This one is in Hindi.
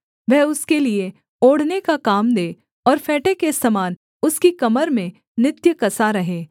वह उसके लिये ओढ़ने का काम दे और फेंटे के समान उसकी कमर में नित्य कसा रहे